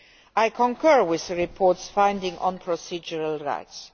I concur with the report's finding on procedural rights.